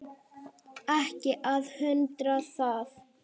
Ekki að undra það.